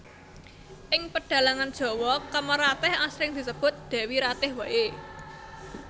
Ing pedhalangan Jawa Kamaratih asring disebut Dewi Ratih waé